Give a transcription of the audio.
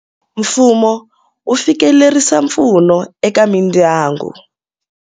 Mfumo wu fikelerisa mpfuno eka mindyangu.